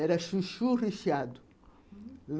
Era chuchu recheado, hum.